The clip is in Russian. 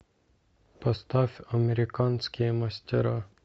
поставь американские мастера